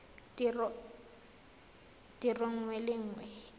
tiro nngwe le nngwe e